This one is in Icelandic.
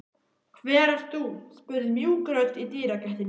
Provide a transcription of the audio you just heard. Hver ert þú? spurði mjúk rödd í dyragættinni.